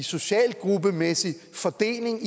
socialgruppemæssig fordeling